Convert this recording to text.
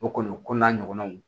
O kɔni o ko n'a ɲɔgɔnnaw